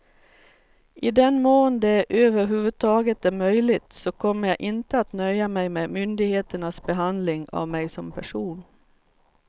I den mån det över huvud taget är möjligt så kommer jag inte att nöja mig med myndigheternas behandling av mig som person.